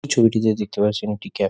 এই ছবিটিতে দেখতে পাচ্ছেন একটি ক্যা--